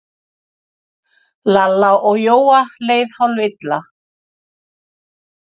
Lalla og Jóa leið hálfilla.